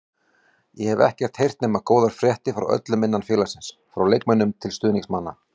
Ég hef ekkert heyrt nema góðar fréttir frá öllum innan félagsins, frá leikmönnum til stuðningsmanna.